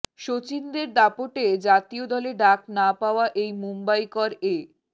সচিনদের দাপটে জাতীয় দলে ডাক না পাওয়া এই মুম্বইকর এ